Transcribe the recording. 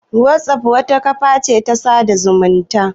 Wazof wata kafa ce ta sada zumunta